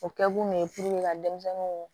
O kɛ kun ye ka denmisɛnninw